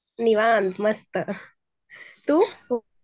निवांत मस्त, तू?